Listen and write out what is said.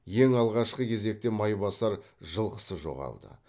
ең алғашқы кезекте майбасар жылқысы жоғалды